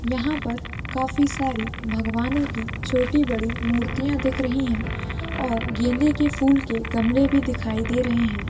यहाँ पर काफी सारी भगवानो की छोटी -बड़ी मुर्तियाँ दिख रही है और गेंदे के फूल के गमले भी दिखाई दे रहे हैं।